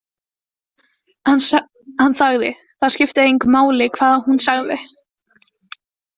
Hann þagði, það skipti engu máli hvað hún sagði.